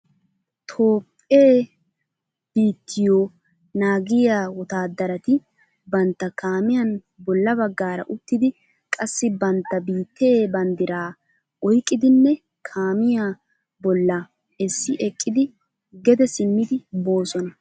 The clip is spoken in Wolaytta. Toophphee biittiyoo naagiyaa wottaaddarati bantta kaamiyan bolla baggaara uttidi qassi bantta biittee banddiraa oyqqidinne kaamiyaa bolla essi ekkidi gede simmidi boosona.